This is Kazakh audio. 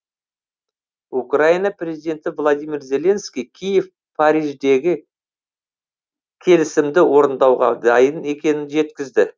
украина президенті владимир зеленский киев париждегі келісімді орындауға дайын екенін жеткізді